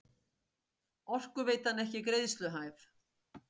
Orkuveitan ekki greiðsluhæf